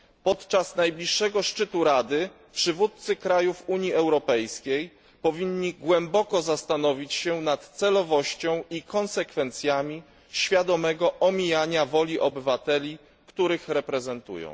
Podczas najbliższego szczytu Rady przywódcy krajów Unii Europejskiej powinni głęboko zastanowić się nad celowością i konsekwencjami świadomego omijania woli obywateli, których reprezentują.